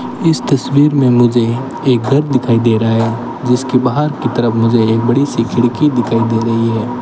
इस तस्वीर में मुझे एक घर दिखाई दे रहा है जिसके बाहर की तरफ मुझे एक बड़ी सी खिड़की दिखाई दे रही है।